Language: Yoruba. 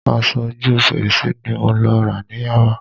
Aṣọ ojú fèrèsé ni mo lọ rà ní Yaba